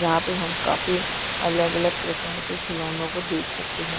यहाँ पे हम काफी अलग-अलग प्रकार के खिलौनों के देख सकते है।